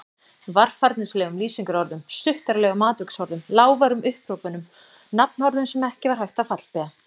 Varfærnislegum lýsingarorðum, stuttaralegum atviksorðum, lágværum upphrópunum, nafnorðum sem ekki var hægt að fallbeygja.